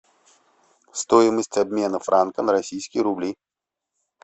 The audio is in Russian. стоимость обмена франка на российские рубли